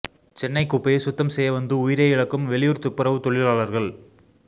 சென்னை குப்பையை சுத்தம் செய்ய வந்து உயிரை இழக்கும் வெளியூர் துப்புரவு தொழிலாளர்கள்